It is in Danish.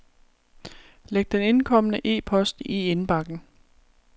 Læg den indkomne e-post i indbakken.